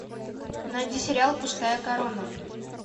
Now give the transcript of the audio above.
найди сериал пустая корона